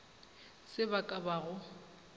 se ba ka ba go